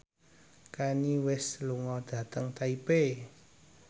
Kanye West lunga dhateng Taipei